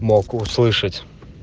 мог услышать